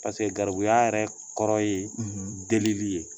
garibuya yɛrɛ kɔrɔ ye delili ye